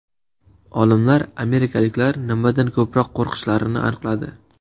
Olimlar amerikaliklar nimadan ko‘proq qo‘rqishlarini aniqladi.